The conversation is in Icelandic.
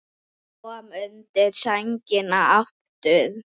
Kom undir sængina aftur.